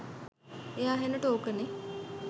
එයා හෙන ටෝක නෙ